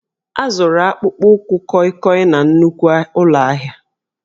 A zụrụ akpụkpọ ụkwụ kọịkọị na nnukwu ụlọ ahịa